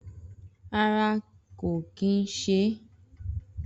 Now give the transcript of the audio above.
Rárá kò kì ń se é.